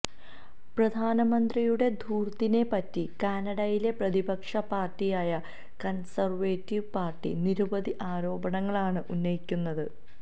പ്രധാനമന്ത്രിയുടെ ധൂർത്തിനെപറ്റി കാനഡയിലെ പ്രതിപക്ഷ പാർട്ടിയായ കൺസർവേറ്റീവ് പാർട്ടി നിരവധി ആരോപണങ്ങളാണ് ഉന്നയിക്കുന്നത്